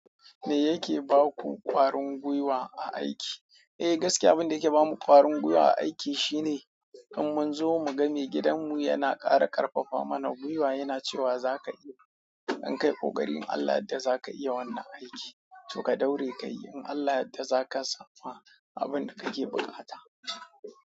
Me yake baku ƙwarin gwiwa a aiki? Eh gaskiya, abinda yake bamu ƙwarin gwiwa a aiki shine idan mun zo mu ga maigidanmu yana ƙara ƙarfafa mana gwiwa, yana cewa zaka iya, in kai ƙoƙari Allah yadda zaka iya wannan aiki, to ka daure ka yi, in Allah yadda za ka sama abinda kake buƙata.